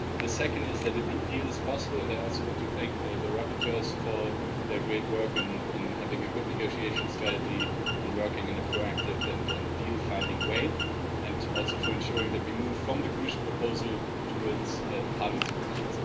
The second is that a big deal is possible, and I also want to thank the rapporteurs for their great work in having a good negotiation strategy and working in a proactive and deal-finding way, and also for ensuring that we move from the Commission proposal towards Parliament's position.